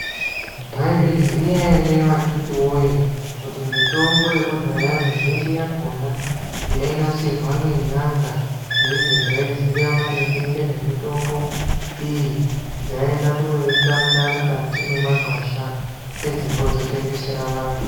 Maizviziya ere vakitiwoye kuti mutombo yekudhaya mizhinji yakona yainasirwa ngen'anga neidzondzaiziye maringe ngezvemitombo iyi dzaienda kunoitsvaka mukati mwemwagwasha pedzepo dzotengesera vantu.